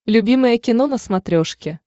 любимое кино на смотрешке